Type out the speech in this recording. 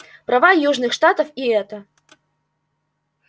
права южных штатов и это